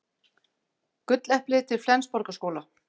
Gulleplið til Flensborgarskóla